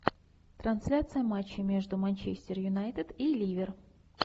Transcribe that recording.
трансляция матча между манчестер юнайтед и ливер